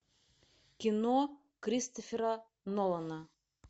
кино кристофера нолана